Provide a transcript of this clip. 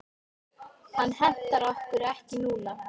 Hann hentar okkur ekki núna.